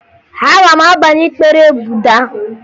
Aga m abanye ịkpere Buda